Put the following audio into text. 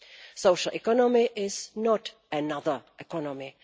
Social economy is not another economy